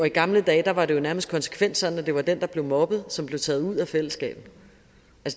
i gamle dage var det jo nærmest konsekvent sådan at det var den der blev mobbet som blev taget ud af fællesskabet